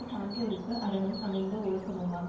சான்றோர்க்கு அறனும் அமைந்த வொழுக்கமுமாம்